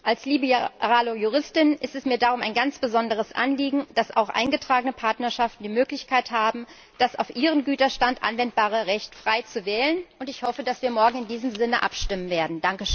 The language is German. Als liberale Juristin ist es mir darum ein ganz besonderes Anliegen, dass auch eingetragene Partnerschaften die Möglichkeit haben, das auf ihren Güterstand anwendbare Recht frei zu wählen, und ich hoffe, dass wir morgen in diesem Sinne abstimmen werden.